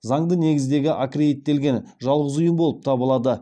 заңды негіздегі аккредиттелген жалғыз ұйым болып табылады